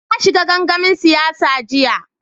Na shiga gangamin siyasa jiya.